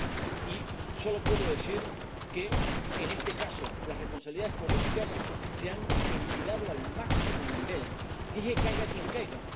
y solo puedo decir que, en este caso, las responsabilidades políticas se han ventilado al máximo nivel. Dije caiga quien caiga.